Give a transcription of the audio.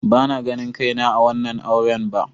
Bana ganin kaina a wannan auren ba.